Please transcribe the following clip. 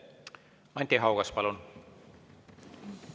Anti Haugas, palun!